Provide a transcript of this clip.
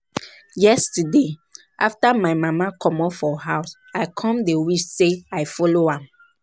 Yesterday after my mama comot for house, I come dey wish say I follow am